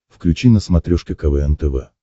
включи на смотрешке квн тв